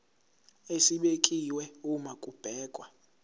esibekiwe uma kubhekwa